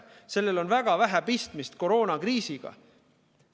Sellel on väga vähe pistmist koroonakriisiga.